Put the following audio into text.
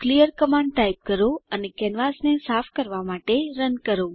clear command type કરો અને કેનવાસને સાફ કરવાં માટે રન કરો